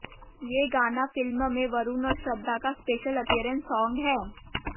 ये गाना फिल्म में वरुण और श्रद्धा का स्पेशल अपीयरेंस सॉन्ग है